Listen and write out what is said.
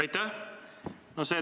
Aitäh!